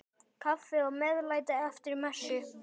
Kaffi og meðlæti eftir messu.